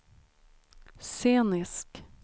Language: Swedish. scenisk